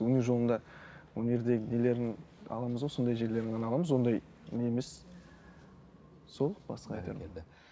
өнер жолында өнердегі нелерін аламыз ғой сондай жерлерін ғана аламыз ондай не емес сол басқа айтарым